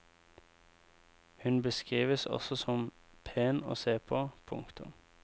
Hun beskrives også som pen å se på. punktum